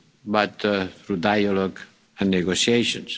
but through dialogue and negotiations.